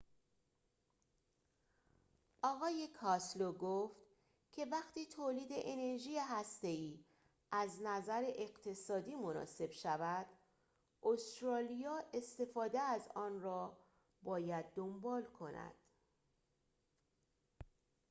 آقای کاستلو گفت که وقتی تولید انرژی هسته ای از نظر اقتصادی مناسب شود استرالیا استفاده از آن را باید دنبال کند